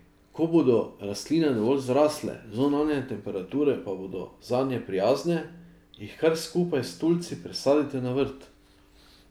Ko bodo rastline dovolj zrasle, zunanje temperature pa bodo zanje prijazne, jih kar skupaj s tulci presadite na vrt.